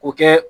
K'o kɛ